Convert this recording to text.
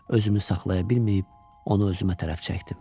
özümü saxlaya bilməyib, onu özümə tərəf çəkdim.